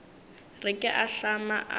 re ke a ahlama a